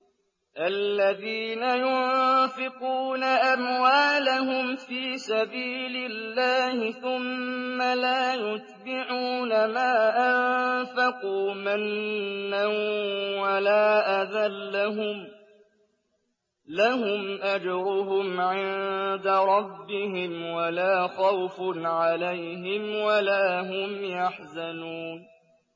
الَّذِينَ يُنفِقُونَ أَمْوَالَهُمْ فِي سَبِيلِ اللَّهِ ثُمَّ لَا يُتْبِعُونَ مَا أَنفَقُوا مَنًّا وَلَا أَذًى ۙ لَّهُمْ أَجْرُهُمْ عِندَ رَبِّهِمْ وَلَا خَوْفٌ عَلَيْهِمْ وَلَا هُمْ يَحْزَنُونَ